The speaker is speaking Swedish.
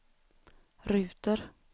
ruter